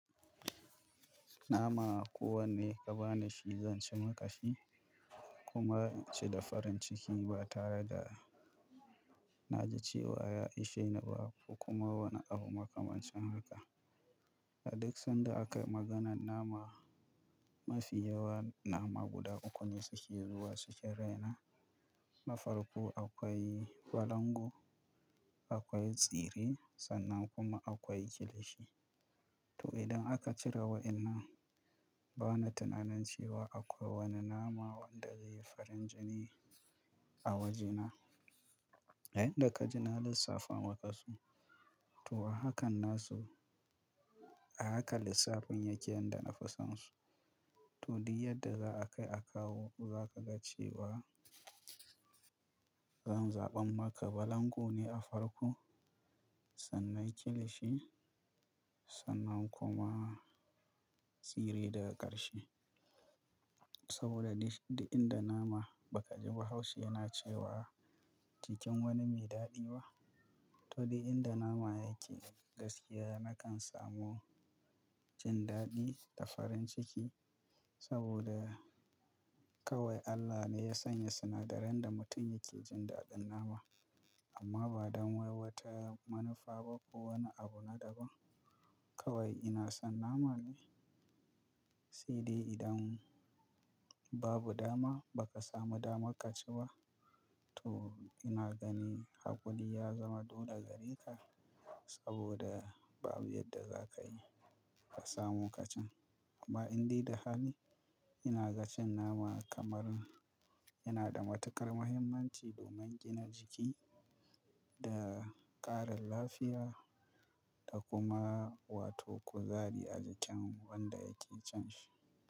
Nama ko wanne ka bani shi zan ci makashi kuma inci da farin ciki ba tare da na ji cewa ya isheni ba ko kuma wani abu makamancin haka. A duk sanda aka yi maganan nama, mafi yawan nama guda uku ne suke zuwa cikin raina. Nafarko akwai balangu, akwai tsire sannan kuma akwai kilishi. To idan aka cire waɗannan, bana tunanin cewa akwai wani nama wanda zai yi farin jini a wajena. Inda ka ji na lissafa maka su, to ahakan na su, ahaka lissafin yake yanda na fi san su. Toh duk yadda za a kai a kawo, za ka ga cewa zan zaɓan maka balango ne a farko, sannan kilishi sannan kuma tsire daga ƙarshe. Saboda duk inda nama ba ka ji Bahaushe na cewa cikin wani mai daɗiba. To da inda nama yake gaskiya nakan samu jin daɗi da farin ciki saboda kawai Allah ne ya sanya sinadaran da mutum yake jin daɗin nama amma ba don wai wata manufa ba ko wani abu na daban. Kawai ina son nama ne. Sai dai idan babu dama baka samu damar ka ciba, to ina gani hakuri ya zama dole gare ka saboda babu yadda za ka yi ka samo kacin. Amma indai da hali ina ga cin nama kamar yana da matuƙar mahimmanci domin gina jiki da ƙarin lafiya da kuma wato kuzari a jikin wanda yake cin shi.